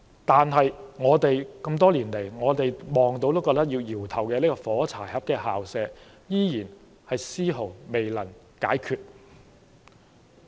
但是，這麼多年來，我們看到也會搖頭的"火柴盒校舍"問題，依然絲毫未能解決。